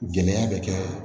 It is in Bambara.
Gɛlɛya bɛ kɛ